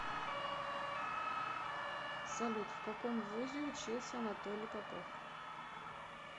салют в каком вузе учился анатолий попов